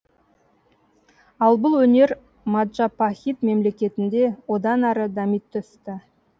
ал бұл өнер маджапахит мемлекетінде одан әрі дами түсті